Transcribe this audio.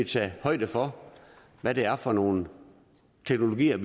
tages højde for hvad det er for nogle teknologier